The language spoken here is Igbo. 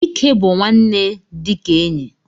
Dike bu nwanne nna dika enyi.